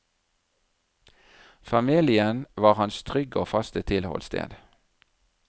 Familien var hans trygge og faste tilholdssted.